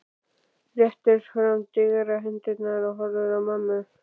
Réttir fram digrar hendurnar og horfir á mömmu.